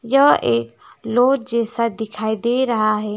यह एक लॉज जैसा दिखाई दे रहा है।